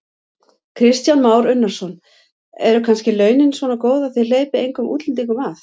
Kristján Már Unnarsson: Eru kannski launin svona góð að þið hleypið engum útlendingum að?